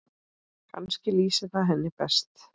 Kannski lýsir það henni best.